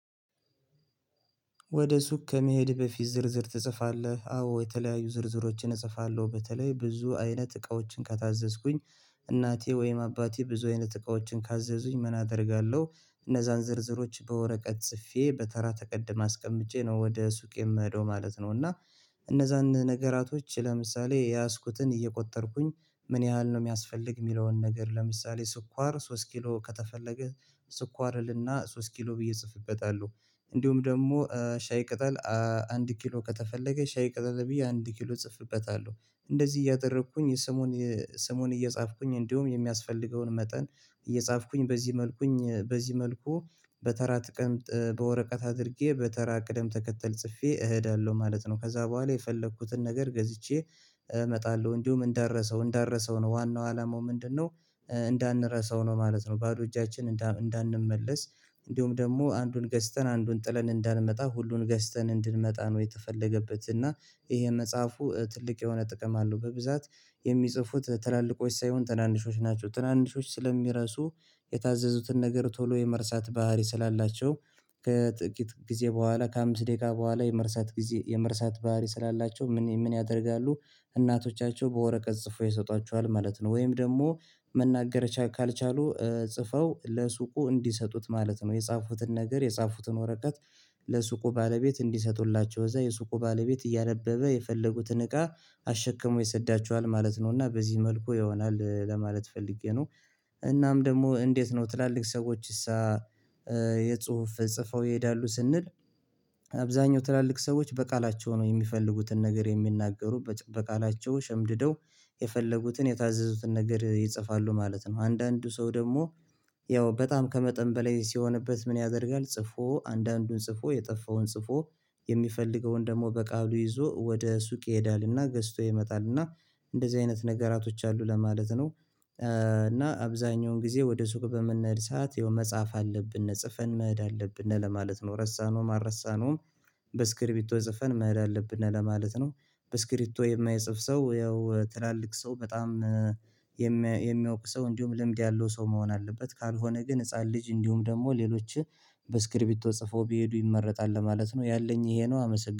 ወደ ሱቅ ከመሄድህ በፊት ዝርዝር ትጽፋለህ አዎ የተለያዩ ዝርዝሮችን እጽፋለሁ በተለይ ብዙ አይነት እቃዎችን ከታዘዝኩኝ እናቴ ወይም አባቴ ብዙ አይነት እቃዎችን ካዘዙኝ ምን አደርጋለሁ እነዛን ዝርዝሮች በወረቀት ስፌ በተራ ተቀድማ አስቀምጬ ነው ወደ ሱቅ የምሄደው ማለት ነው። እና እነዛን ነገራቶች ለምሳሌ የያዝኩትን እየቆጠርኩኝ ምን ያህል ነው የሚያስፈልግ የሚለውን ነገር ለምሳሌ ስኳር ሶስት ኪሎ ከተፈለገ ስኳር እልና ሶስት ኪሎ ብዬ እጽፍበታለሁ። እንዲሁም ደግሞ ሻይ ቅጠል አንድ ኪሎ ከተፈለገ ሻይ ቅጠል ብዬ አንድ ኪሎ ጽፍበታለሁ እንደዚህ እያደረኩኝ የስሙን ስሙን እየጻፍኩኝ እንዲሁም የሚያስፈልገውን መጠን እየጻፍኩኝ በዚህ መልኩኝ በዚህ መልኩ በተራ ትቀምጥ በወረቀት አድርጌ በተራ ቅደም ተከተል ጽፌ እሄዳለሁ ማለት ነው። ከዛ በኋላ የፈለኩትን ነገር ገዝቼ እመጣለሁ። እንዲሁም እንዳረሳው እንዳረሳው ነው ዋናው አላማው ምንድነው? እንዳንረሳው ነው ማለት ነው። ባዶ እጃችን እንዳንመለስ እንዲሁም ደግሞ አንዱን ገዝተን አንዱን ጥለን እንዳንመጣ ሁሉን ገዝተን እንድንመጣ ነው። የተፈለገበት እና ይሄ መጽሐፉ ትልቅ የሆነ ጥቅም አለው በብዛት የሚጽፉት ትላልቆች ሳይሆን ትናንሾች ናቸው። ትናንሾች ስለሚረሱ የታዘዙትን ነገር ቶሎ የመርሳት ባህሪ ስላላቸው ከጥቂት ጊዜ በኋላ ከአምስት ደቂቃ በኋላ የመርሳት ጊዜ የመርሳት ባህሪ ስላላቸው ምን ምን ያደርጋሉ እናቶቻቸው በወረቀት ጽፎ ይሰጧቸዋል ማለት ነው። ወይም ደግሞ መናገር ካልቻሉ ጽፈው ለሱቁ እንዲሰጡት ማለት ነው። የጻፉትን ነገር የጻፉትን ወረቀት ለሱቁ ባለቤት እንዲሰጡላቸው እዛ የሱቁ ባለቤት እያነበበ የፈለጉትን እቃ አሽከሞ ይሰዳቸዋል ማለት ነው። እና በዚህ መልኩ ይሆናል ለማለት ፈልጌ ነው። እናም ደግሞ እንዴት ነው ትላልቅ ሰዎችስ? የጽሁፍ ጽፈው ይሄዳሉ ስንል አብዛኛው ትላልቅ ሰዎች በቃላቸው ነው የሚፈልጉትን ነገር የሚናገሩ በቃላቸው ሸምድደው የፈለጉትን የታዘዙትን ነገር ይጽፋሉ ማለት ነው። አንዳንዱ ሰው ደግሞ ያው በጣም ከመጠን በላይ ሲሆንበት ምን ያደርጋል? ጽፎ አንዳንዱን ጽፎ የጠፋውን ጽፎ የሚፈልገውን ደግሞ በቃሉ ይዞ ወደ ሱቅ ይሄዳልና ገዝቶ ይመጣልና እንደዚህ አይነት ነገራቶች አሉ ለማለት ነው። እና አብዛኛውን ጊዜ ወደ ሱቅ በምንሄድ ሰዓት የሆነ መጽሐፍ አለብን ጽፈን መሄድ አለብን ነው ለማለት ነው ረሳነው አልረሳነውም በእስክሪፕቶ ጽፈን መሄድ አለብን ለማለት ነው። በእስክሪፕቶ የማይጽፍ ሰው ያው ትላልቅ ሰው በጣም የሚያውቅ ሰው እንዲሁም ልምድ ያለው ሰው መሆን አለበት ካልሆነ ግን ህፃን ልጅ እንዲሁም ደግሞ ሌሎችህ በእስክሪፕቶ ጽፎ ቢሄዱ ይመረጣል ለማለት ነው። ያለኝ ይሄ ነው። አመሰግናለሁ